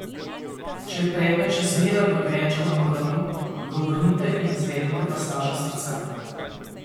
Če je predmet še zmeraj v dojenčkovem grlu, ga obrnite in izvedite masažo srca.